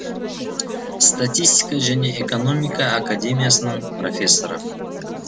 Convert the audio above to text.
статистика және экономика академиясының профессоры